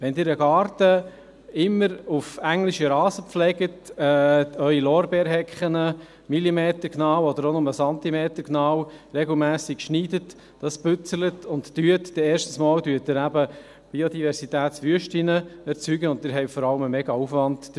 Wenn Sie einen Garten immer auf englischen Rasen pflegen, Ihre Lorbeerhecken millimetergenau oder auch nur zentimetergenau regelmässig schneiden, putzen und machen, dann erzeugen Sie erstens einmal Biodiversitätswüsten, und Sie haben vor allem einen riesigen Aufwand dabei.